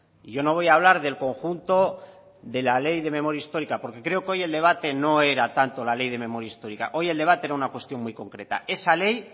y yo no voy a hablar del conjunto de la ley de memoria histórica porque creo que hoy el debate no era tanto la ley de memoria histórica hoy el debate era una cuestión muy concreta esa ley